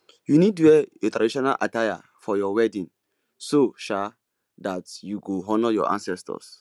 you need wear your traditional attire for your wedding so um that you go honour your ancestors